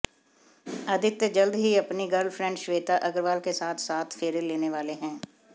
आदित्य जल्द ही अपनी गर्लफ्रेंड श्वेता अग्रवाल के साथ सात फेरे लेने वाले हैं